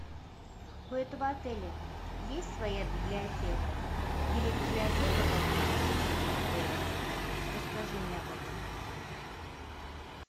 у этого отеля есть своя библиотека или библиотека поблизости с этим отелем расскажи мне об этом